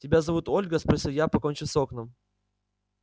тебя зовут ольга спросил я покончив с окном